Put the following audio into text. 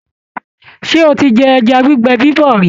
Ṣé o ti jẹ ẹja gbígbẹ bíbọ̀ rí?